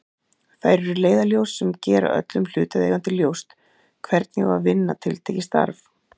Þær eru leiðarljós sem gera öllum hlutaðeigandi ljóst hvernig á að vinna tiltekið starf.